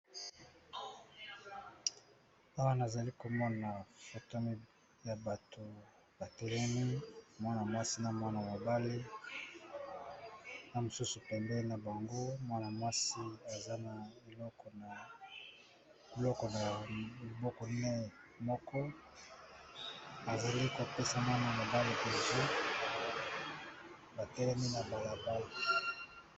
Awana nazali komona photo ya bato batelemi mwana mwasi na mwana mobali na mosusu pembeni na bango mwana-mwasi aza na biboko na maboko naye moko azali kopesa mwana mobali bizu batelemi na balabala.